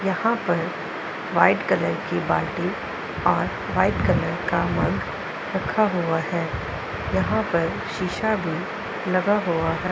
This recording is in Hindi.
यहां पर व्हाइट कलर की बालटी और व्हाइट कलर का मग रखा हुआ है यहां पर शिशा भी लगा हुआ हैं।